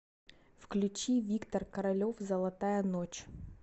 включи виктор королев золотая ночь